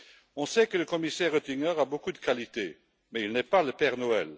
On sait que le commissaire Oettinger a beaucoup de qualités mais il n'est pas le Père Noël.